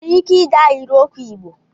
Ị nwere ike dee ahịrịokwu Igbo?